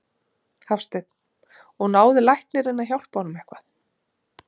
Hafsteinn: Og náði læknirinn að hjálpa honum eitthvað?